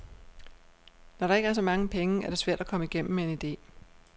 Når der ikke er så mange penge, er det svært at komme igennem med en idé.